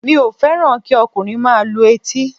Mi ò fẹ́ràn kí ọkùnrin máa lu etí